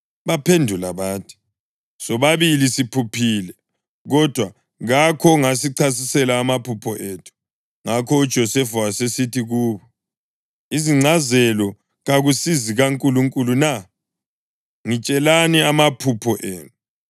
Baphendula bathi, “Sobabili siphuphile, kodwa kakho ongasichasisela amaphupho ethu.” Ngakho uJosefa wasesithi kubo, “Izingcazelo kakusizikaNkulunkulu na? Ngitshelani amaphupho enu.”